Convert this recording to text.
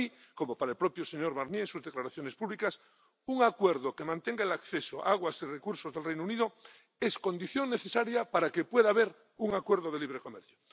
Para mí —como para el propio señor Barnier, según sus declaraciones públicas—, un acuerdo que mantenga el acceso a las aguas y los recursos del Reino Unido es condición necesaria para que pueda haber un acuerdo de libre comercio.